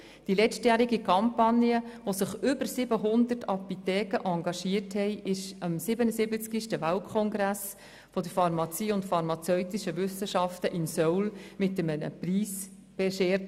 Die letztjährige Kampagne, in der sich über 700 Apotheken engagiert haben, wurde am 77. Weltkongress der Pharmazie und phar mazeutischen Wissenschaften in Seoul mit einem Preis geehrt.